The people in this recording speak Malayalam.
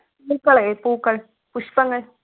പൂക്കളെ പൂക്കൾ പുഷ്പങ്ങൾ